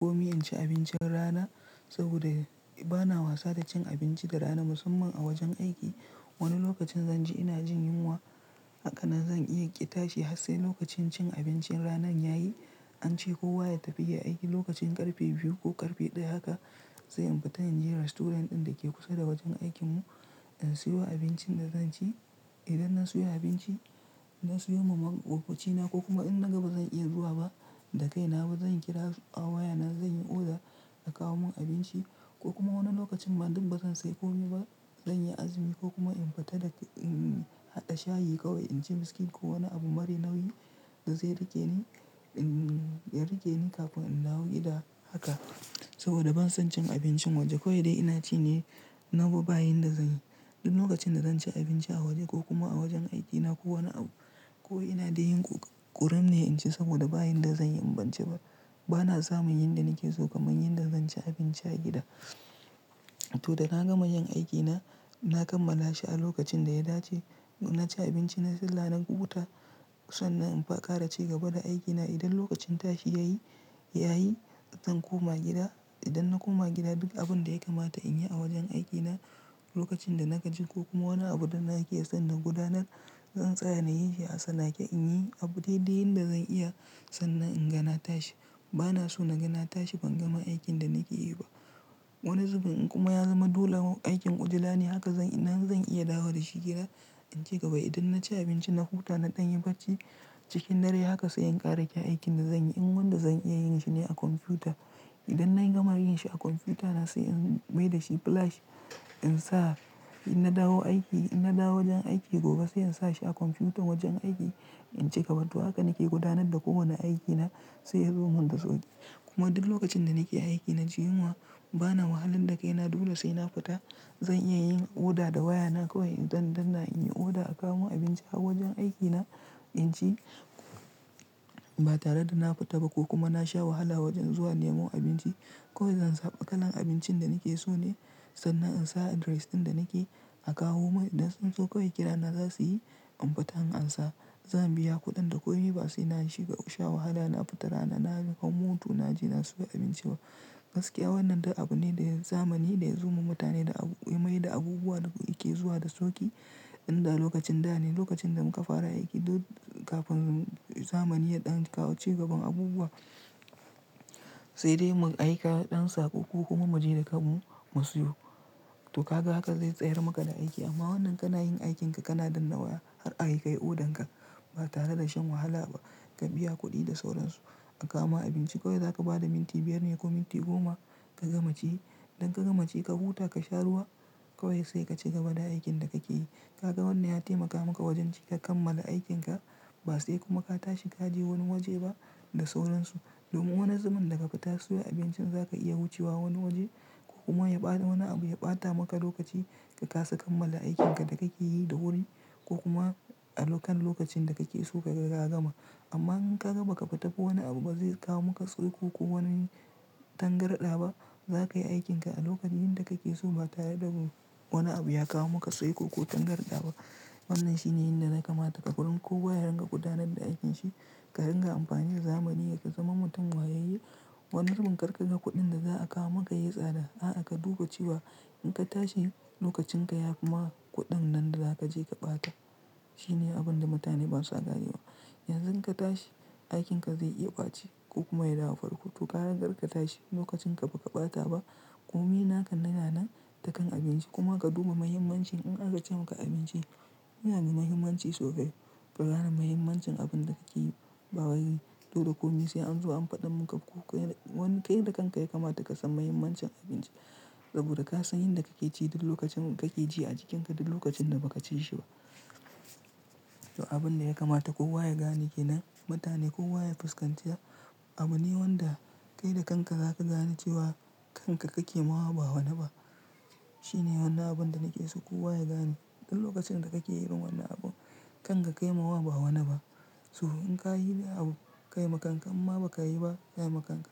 Komi in ci abincin rana saboda bana wasa da cin abinci da rana. Musamman a wajen aiki. Wani lokacin zan ji ina jin yunwa haka nan zan iya ƙi tashi ha sai lokacin cin abincin ranan yayi. An ce kowa ya tafi ya yi aiki lokacin ƙarfe biyu ko ƙarfe ɗaya haka sai in fita in je restaurant ɗin da ke kusa da wajen aikin mu na siyo abincin da zan ci. Idan na siyo abinci, na siyo ma maƙoƙocina ko kuma in naga ba zan iya zuwa ba da kai na ba zan kira su a waya na zan yi oda a kawo mun abinci ko kuma wani lokacin ma duk ba zan sayi ko mi ba. Zan yi azumi ko kuma in fita da, umm, haɗa shayi kawai in ci biskit ko wani abu mari nauyi da zai riƙe ni, umm, ya riƙe ni kafin in dawo gida haka saboda ban son cin abincin waje. Kowai dai ina ci ne na bo bayi da zanyi. Du lokacin da dan ci abinci a waje ko kuma a wajen aikina ko wani abu, ko ina dai yin ƙu-ƙurum ne in ci saboda ba yin da zanyi in ban ci ba. Bana samun yin da nake so kaman yanda zan ci abinci a gida. To da na gama yin aikina, na kammala shi a lokacin da ya dace. Na ci abinci, nai salla, dan huta sannan in fa ƙara ci gaba da aikina. Idan lokacin tashi yayi, yayi zan koma gida. Idan na koma gida duk abun da ya kamata in yi a wajen aikina lokacin da na gaji ko kuma wani abu da nake son na gudanar, zan tsaya na yi shi. A sanake in yi abu dai dai yan da zan iya sannan in gana tashi. Bana so na gana tashi ban gama aikin da nake yi ba. Wani zubin in kuma ya zama dole aikin ujula ne haka zan ina zan iya dawo da shi gida in ci gaba. Idan na ci abinci, na huta, na ɗan yi bacci cikin dare haka sai in ƙara ƙe aikin da zanyi. In wanda zan iya yin shi ne a kwamfuta. Idan na yi gama yin shi a kwamfuta na sai in mai da shi plash in sa in na dawo aiki, in na dawo wajen aiki gobe sai in sa shi a kwamfutan wajen aiki in ci gaba. To haka nake gudanad da kowani aikina sai ya zo mun da sauƙi. Kuma duk lokacin da nake aiki na jin yunwa bana wahalad da kai na dole sai na fita. Zan iya yin oda da wayana kawai idan dana in yi oda a kawo mun abinci a wajen aikina. In ci ba tare da na fita ba ko kuma na sha wahala wajen zuwa nemo abinci. Kowai zan zaba kalan abincin da nake so ne sannan in sa address ɗin da nake a kawo mun. Idan sun zo kawai kirana za su yi, an fita an ansa. Zan biya kuɗin da komi ba sai na shiga sha wahala na fita rana na hau moto na je na siyo abinci ba. Gaskiya wannan du abu ne da zamani da ya zo ma mutane da abu, ya mai da abubuwa da yake zuwa da sauƙi. Inda lokacin da ne lokacin da muka fara aiki du kafin zamani ya ɗan kawo ci gaban abubuwa sai dai mu aika ɗan saƙo ko kuma mu je da kanmu mu siyo. To ka ga haka zai tsayar maka da aiki amma wannan kana yin aikinka kana danna waya har ayi kai odan ka ba tare da shan wahala ba. Ka biya kuɗi da sauransu a kawo ma abinci. Kawai za ka ba da minti biyar ne ko minti goma ka gama ci. Idan ka gama ci ka huta ka sha ruwa kawai sai ka ci gaba da aikin da kake yi. Ka ga wannan ya taimaka maka wajen cika kammala aikin ka ba sai kuma ka tashi ka je wani waje ba da sauransu. Domin wani zubin daga fita siyo abincin za ka iya wucewa wani waje ko kuma ya ɓa wani abu ya ɓata maka lokaci ka kasa kammala aikin ka da kake yi da wuri ko kuma a lokan lokacin da kake so kaga ka gama. Amma in ka gaba ka fita ko wani abu ba zai kawo maka tsurku ko wani tangarɗa ba. Za ka yi aikin ka a lokacin da kake so ba tare da wani abu ya kawo maka saiko ko tangarɗa ba. Wannan shine yin da na kamata ka gurun. Kowaya ringa gudanar da aikin shi ka ringa amfani da zamani ya ka zaman mutun wayayye. Wani zubin karka ga kuɗin da za a kawo maka yayi tsada a'a ka duba cewa in ka tashi lokacin ka ya fi ma kuɗin nan da za ka je ka ɓata. Shi ne abun da mutane basua ganewa. Yanzu in ka tashi aikin ka zai iya ɓaci ko kuma ya dawo farko. To gara karka tashi lokacin ka baka ɓata ba. Komi naka na nanan takan abinci kuma ka duba mahimmancin in aka ce maka abinci yana da ma himmanci sosai. Ka gane mahimmancin abun da kake yi bawai ɗulu. Komi sai an zo an faɗa mu ka ko kai wani kai da kanka ya kamata ka san mahimmancin abinci saboda ka san yan da kake ci du lokacin kake ji a jikinka du lokacin da baka ci shi ba. To abun da ya kamata kowa ya gane kenan mutane. Kowa ya fuskanta. Abu ne wanda kai da kanka za ka gane cewa kanka kake ma wa ba wane ba. Shi ne wannan abun da nake so kowa ya gane. Du lokacin da kake yin irin wannan abu, kan ka kai ma wa ba wani ba. To in ka yi abu kai ma kanka amma ba ka yi ba, kai ma kanka.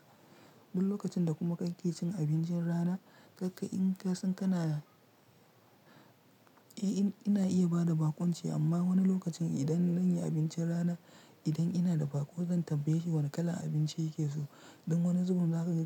Duk lokacin da kuma kake cin abincin rana, kakka in ka san kana ina iya ba da bakunci amma wani lokacin idan zan yi abincin rana, idan ina da bakon zan tambaye shi wani kalan abinci yake so don wani zubin za ka ga ka.